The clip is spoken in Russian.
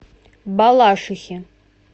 балашихи